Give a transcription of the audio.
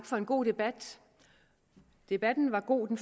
for en god debat debatten var god den